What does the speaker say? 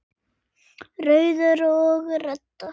Rauður og Redda